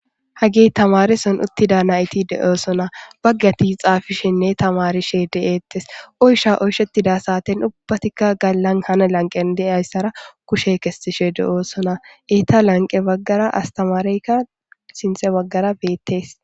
Hagey tamareson utida nayt de'osona. Izetape Bagat xafishenne tamarishe de'etes , oycha oychetida saten ubbatika ganan han lanqen diyaysara kushe kesishe de'osona. Eta lanqe bagara astamaereyka sinthe bagara betes.